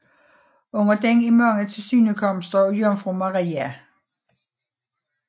Under den er mange tilsynekomster af Jomfru Maria